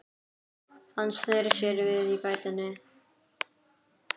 Hann sneri sér við í gættinni.